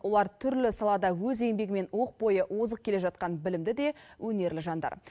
олар түрлі салада өз еңбегімен оқ бойы озық келе жатқан білімді де өнерлі жандар